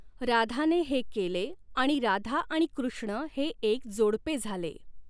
राधाने हे केले आणि राधा आणि कृष्ण हे एक जोडपे झाले.